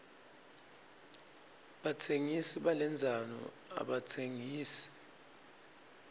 batsengisi balendzano abatsengisi